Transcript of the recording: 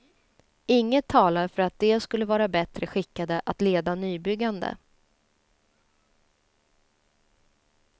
Inget talar för att de skulle vara bättre skickade att leda nybyggande.